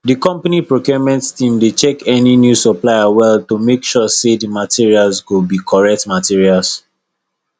the company procurement team dey check any new supplier well to make sure say the materials go be correct materials